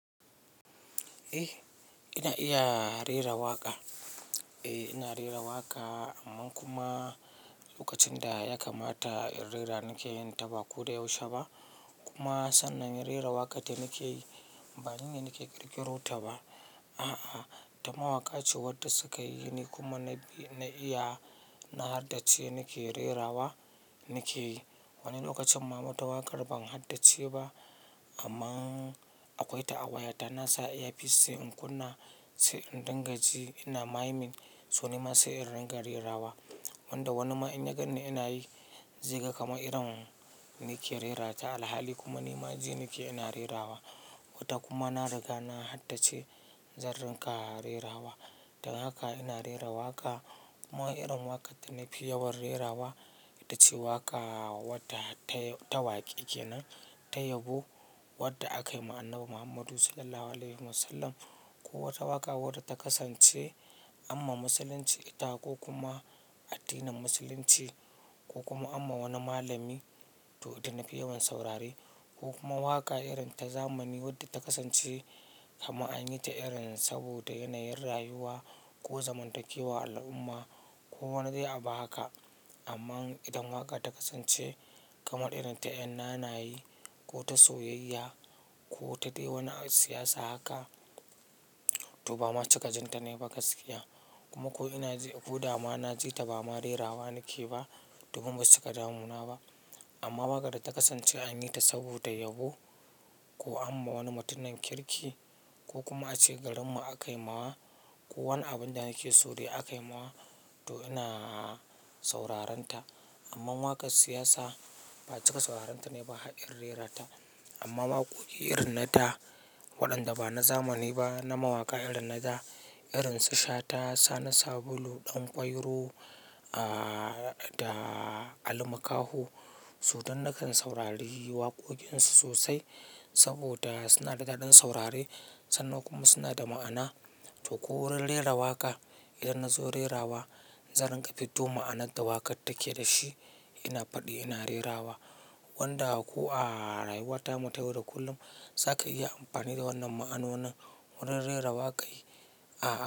Eh ina iya rera waƙa. Eh ina rera waƙa amma kuma lokacin da ya kamata in rera nake yin ta ba ko da yaushe ba. Kumma sannan rera waƙan dana keyi banine nake ƙirƙiro ta ba. A'a, ta mawaƙace wadda sukayi ni kuma na iya, na haddace nake rerawa nake yi. Wani lokacin ma wata waƙar ban haddace ba amma akwai ta a wayata inna sa earpiece sai in kunna sai in dinga ji ina maimin soni ma sai in ringa rerawa. Wanda wani ma in ya gan ni inayi zaiga kamar irin nike rerata alhali kuma ni ma ji nake ina rerawa. Wata kuma na riga na haddace zan ringa rerawa. Dan haka ina rera waƙa kuma irin waƙar da nafi yawan rerawa ita ce waƙa wadda ta wakeke nan, ta yabo wadda aka yi ma Annabi Muhammadu SAW. Ko wata waƙa wadda ta kasance amma musulunci ita, ko kuma addinin musulunci, ko kuma amma wani malami to ita nafi yawan saurare. Ko kuma waƙa irin ta zamani wadda ta kasance amma anyi ta irin saboda yanayin rayuwa ko zamantakewa al'umma ko wani dai abu haka. Amma idan waƙa ta kasance kamar irin ta yan nana ye ko ta soyayya ko ta dai wani siyasa haka to ba ma cika jin ta nayi ba gaskiya. Kuma ko ina ji, ko dama na ji ta ba ma rerawa nake ba to basu cika damu ba. Amma waƙar da ta kasance anyi ta saboda yabo ko an ma wani mutumin kirki kokuma ace garinmu akaimawa ko wani abinda nakeso aka yi mawa to ina sauraranta amma waƙar siyasa ba cika sauraren ta nai ba har in rerata. Amma waƙoƙi irin na da waɗanda ba na zamani ba na mawaƙa irin na da irin su Shata, Sani Sabulu, Danƙwairo, aaaa da Ali Makaho. So don nakan saurari waƙoƙinsu sosai saboda suna da daɗin saurare sannan kuma suna da ma'ana. To ko wurin rera waƙa idan na zo rerawa zan ringa fiddo ma'anar da waƙar take dashi ina faɗi ina rerawa. Wanda ko ara yuwata mu ta yau da kullum zaka iya amfani da wannan ma'anonin wajen rera waƙan.